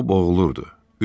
O boğulurdu.